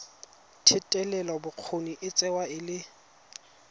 thetelelobokgoni e tsewa e le